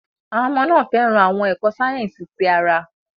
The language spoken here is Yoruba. Àwọn ọmọ náà fẹ́ràn àwọn ẹ̀kọ́ sáyẹ́sì ti ara.